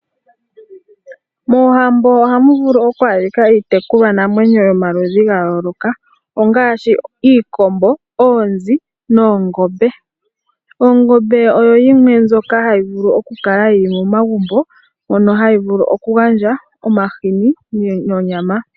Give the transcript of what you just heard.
Moohambo ohamu vulu oku adhika iitekulwa namwenyo ypmaludhi ga yooloka ngaaashi iikombo ,oonzi noongombe . Ongombe oyo yimwe ndjoka hayi vulu okukala yili momagumbo mbyono hayi vulu okugandja omahini nonyama.